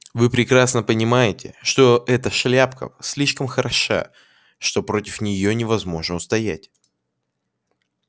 вы прекрасно понимаете что эта шляпка слишком хороша что против неё невозможно устоять